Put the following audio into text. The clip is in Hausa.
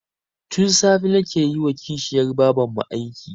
Tun safe nake yi wa kishiyar babarmu aiki